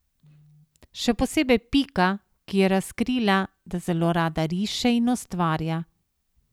Še posebej Pika, ki je razkrila, da zelo rada riše in ustvarja.